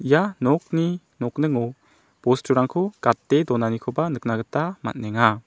ia nokni nokningo bosturangko gate donanikoba nikna gita man·enga.